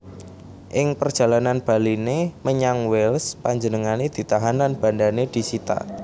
Ing perjalanan baliné menyang Wales panjenengané ditahan lan bandané disita